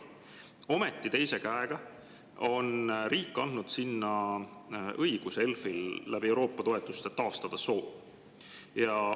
Ometi on riik teise käega andnud ELF‑ile õiguse taastada seal Euroopa toetuste abil soo.